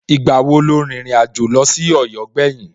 Ìgbà wo lo rìnrìn àjò lọ sí Ọ̀yọ́ gbẹ̀yìn?